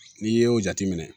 N'i ye o jate minɛ